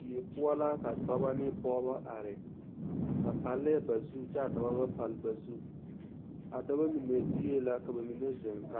Die poɔ la ka dɔbɔ ne pɔgeba are ba paalɛɛ ba zu kyɛ ka dɔba ba paale ba zu a dɔba mine gbie la kyɛ ka a pɔgeba mine zeŋ ka